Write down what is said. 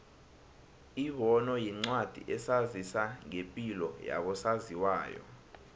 ibono yincwadi esazisa ngepilo yabo saziwayo